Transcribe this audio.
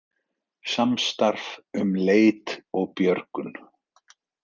Samstarf um leit og björgun